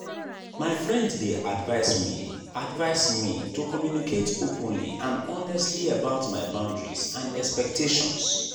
my friend dey advise me advise me to communicate openly and honestly about my boundaries and expectations.